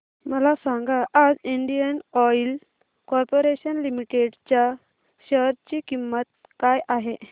मला सांगा आज इंडियन ऑइल कॉर्पोरेशन लिमिटेड च्या शेअर ची किंमत काय आहे